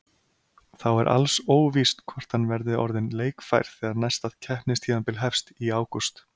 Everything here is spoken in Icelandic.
Þá er alls óvíst hvort hann verði orðinn leikfær þegar næsta keppnistímabil hefst í ágúst.